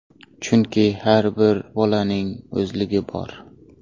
Chunki har bir bolaning o‘zligi bor.